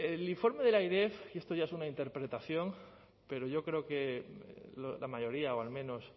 el informe del airef y esto ya es una interpretación pero yo creo que la mayoría o al menos